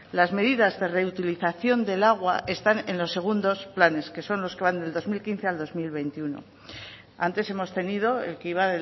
las medidas de reutilización del agua están en los segundos planes que son los que van del dos mil quince al dos mil veintiuno antes hemos tenido el que iba